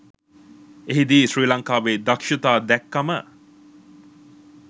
එහිදී ශ්‍රී ලංකාවේ දක්ෂතා දැක්කම